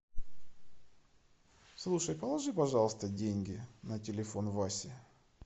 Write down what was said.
слушай положи пожалуйста деньги на телефон васи